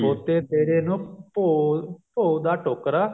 ਬੋਤੇ ਤੇਰੇ ਨੂੰ ਭੋਂ ਭੋਂ ਦਾ ਟੋਕਰਾ